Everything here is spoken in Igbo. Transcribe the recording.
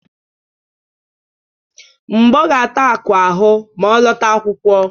Mgbọ ga-ata akụ ahụ ma ọ lọta akwụkwọ.